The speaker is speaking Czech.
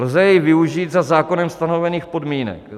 Lze jej využít za zákonem stanovených podmínek.